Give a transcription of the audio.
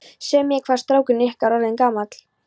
Segðu mér, hvað er strákurinn ykkar orðinn gamall?